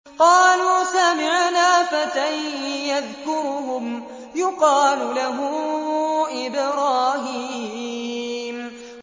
قَالُوا سَمِعْنَا فَتًى يَذْكُرُهُمْ يُقَالُ لَهُ إِبْرَاهِيمُ